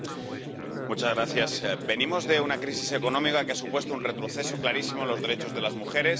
Señor presidente, venimos de una crisis económica que ha supuesto un retroceso clarísimo en los derechos de las mujeres.